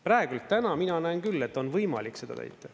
Praegu, täna mina näen küll, et on võimalik seda täita.